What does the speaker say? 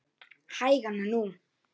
Hægan nú